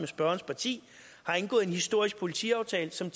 spørgerens parti har indgået en historisk politiaftale som